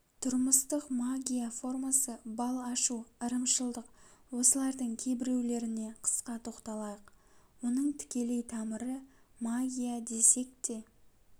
тұрмыстық магия формасы бал ашу ырымшылдық осылардың кейбіреулеріне қысқа тоқталайық оның тікелей тамыры магия десек те